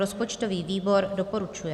Rozpočtový výbor doporučuje.